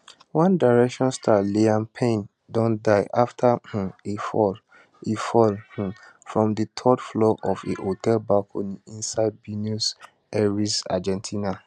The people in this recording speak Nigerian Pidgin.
one direction star liam payne don die after um e fall e fall um from di third floor of a hotel balcony inside buenos aires argentina